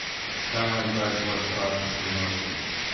Kaj naj zdaj s svojo strašno skrivnostjo?